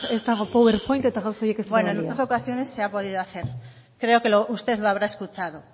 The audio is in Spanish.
ez dago power point eta gauza horiek bueno en otras ocasiones se ha podido hacer creo que usted lo habrá escuchado